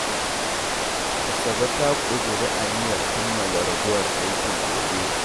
Asabe ta ƙudiri aniyar kammala ragowar aikin gobe.